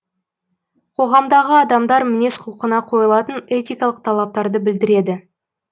қоғамдағы адамдар мінез құлқына қойылатын этикалық талаптарды білдіреді